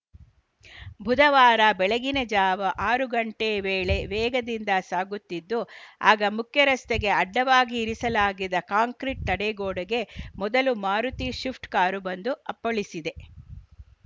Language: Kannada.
ಬುಧವಾರ ಬೆಳಗಿನ ಜಾವ ಆರು ಗಂಟೆ ವೇಳೆ ವೇಗದಿಂದ ಸಾಗುತ್ತಿದ್ದು ಆಗ ಮುಖ್ಯರಸ್ತೆಗೆ ಅಡ್ಡವಾಗಿ ಇರಿಸಲಾಗಿದ್ದ ಕಾಂಕ್ರಿಟ್‌ ತಡೆಗೋಡೆಗೆ ಮೊದಲು ಮಾರುತಿ ಶಿಫ್ಟ್‌ ಕಾರು ಬಂದು ಅಪ್ಪಳಿಸಿದೆ